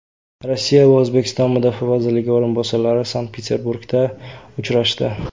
Rossiya va O‘zbekiston mudofaa vazirlari o‘rinbosarlari Sankt-Peterburgda uchrashdi.